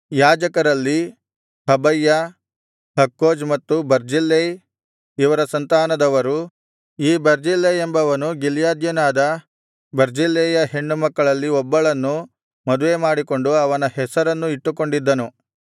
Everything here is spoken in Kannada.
ಯಾಜಕರಲ್ಲಿ ಹಬಯ್ಯ ಹಕ್ಕೋಜ್ ಮತ್ತು ಬರ್ಜಿಲ್ಲೈ ಇವರ ಸಂತಾನದವರು ಈ ಬರ್ಜಿಲ್ಲೈ ಎಂಬವನು ಗಿಲ್ಯಾದ್ಯನಾದ ಬರ್ಜಿಲ್ಲೈಯ ಹೆಣ್ಣುಮಕ್ಕಳಲ್ಲಿ ಒಬ್ಬಳನ್ನು ಮದುವೆಮಾಡಿಕೊಂಡು ಅವನ ಹೆಸರನ್ನೂ ಇಟ್ಟುಕೊಂಡಿದ್ದನು